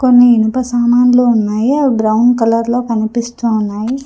కొన్ని ఇనుప సామాన్లు ఉన్నాయి అవి బ్రౌన్ కలర్ లో కనిపిస్తూ ఉన్నాయి.